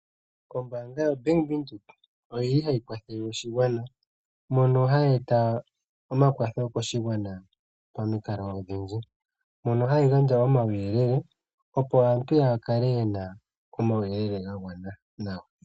Ombaanga yoBank Windhoek oyili hayi kwathele oshigwana mono hayi eta omakwatho koshigwana momikalo odhindji, mono hayi gandja omauyele opo aantu ya kale ye na omauyelele ga gwana.